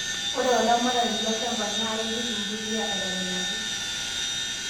ore olaramatani lolchamba NAA ipik embuliya aitobiraki